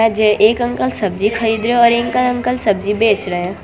जे एक अंकल सब्जी खरीदने और एक अंकल सब्जी बेच रहे हैं।